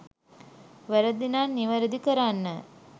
වැරදි නම් නිවැරදි කරන්න